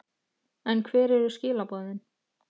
En hver eru skilaboðin?